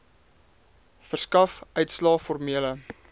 verskaf uitslae formele